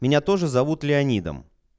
меня тоже зовут леонидом